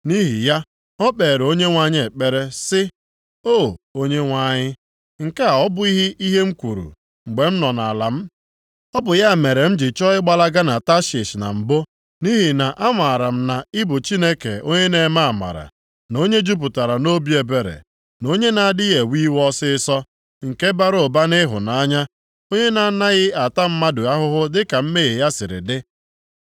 Nʼihi ya, o kpeere Onyenwe anyị ekpere sị, “O, Onyenwe anyị, nke a ọ bụghị ihe m kwuru, mgbe m nọ nʼala m? Ọ bụ ya mere m ji chọọ ịgbalaga na Tashish na mbụ nʼihi na amaara m na ị bụ Chineke onye na-eme amara, na onye jupụtara nʼobi ebere, na onye na-adịghị ewe iwe ọsịịsọ, nke bara ụba nʼịhụnanya, onye na-anaghị ata mmadụ ahụhụ dịka mmehie ya siri dị.